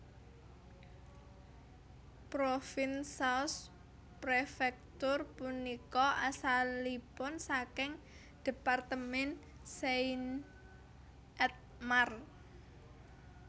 Provins sous préfecture punika asalipun saking département Seine et Marne